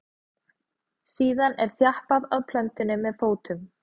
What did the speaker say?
síðan er þjappað að plöntunni með fótum